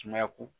Sumaya ko